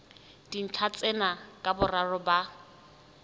dintlha tsena ka boraro ba